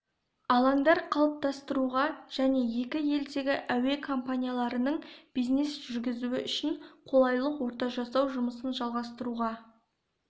алаңдар қалыптастыруға және екі елдегі әуе компанияларының бизнес жүргізуі үшін қолайлы орта жасау жұмысын жалғастыруға